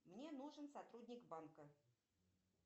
мне нужен сотрудник банка